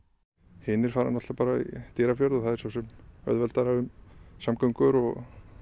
hinir fara í Dýrafjörð og það svo sem auðveldara með samgöngur og